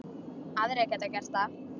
Aðrir geta gert það.